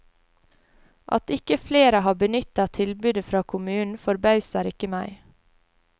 At ikke flere har benyttet tilbudet fra kommunen forbauser ikke meg.